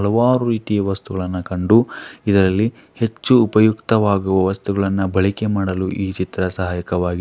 ಹಲವಾರು ರೀತಿಯ ವಸ್ತುಗಳನ್ನ ಕಂಡು ಇದರಲ್ಲಿ ಹೆಚ್ಚು ಉಪಯುಕ್ತವಾಗುವ ವಸ್ತುಗಳನ್ನು ಬಳಕೆ ಮಾಡಲು ಈ ಚಿತ್ರ ಸಹಾಯಕವಾಗಿದೆ.